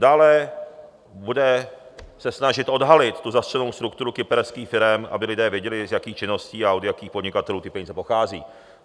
Dále bude se snažit odhalit tu zastřenou strukturu kyperských firem, aby lidé věděli, z jakých činností a od jakých podnikatelů ty peníze pocházejí.